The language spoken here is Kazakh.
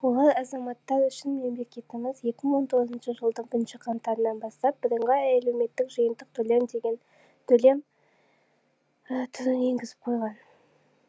олар азаматтар үшін мемлекетіміз екі мың он тоғызыншы жылдың бірінші қаңтарынан бастап бірыңғай әлеуметтік жиынтық төлем деген төлем түрін енгізіп қойған